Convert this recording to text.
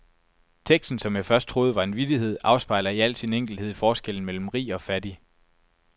Teksten, som jeg først troede var en vittighed, afspejler i al sin enkelthed forskellen mellen rig og fattig.